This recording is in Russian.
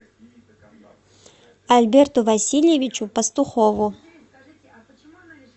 альберту васильевичу пастухову